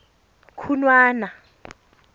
khunwana